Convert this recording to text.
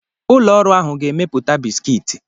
Ụlọ ọrụ ahụ ga-emepụta bisikiti.